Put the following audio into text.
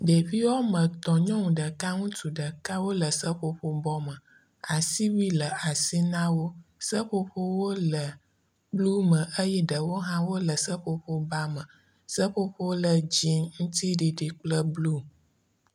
Ɖeviwo wome etɔ, nyɔnu ŋutsu ɖeka wole seƒoƒobɔ me, asiwui le asi nawo, seƒoƒowo le blu me eye ɖewo hã le seƒoƒoba me, seƒoƒowo le dzie ŋuti ɖiɖi kple blue